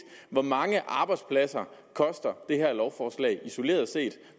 hvor mange arbejdspladser koster det her lovforslag isoleret set